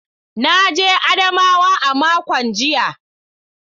Na je jihar Adamawa a makon jiya.